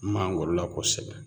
Mangoro la kosɛbɛ